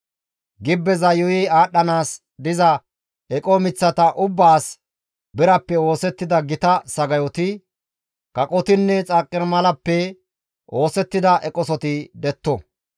«Gibbeza yuuyi aadhdhanaas diza eqo miththata ubbaas birappe oosettida gita sagayoti, kaqotinne, xarqimalappe oosettida eqosoti detto.